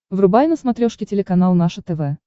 врубай на смотрешке телеканал наше тв